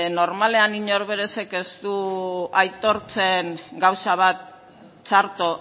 normalean inork berez ez du aitortzen gauza bat txarto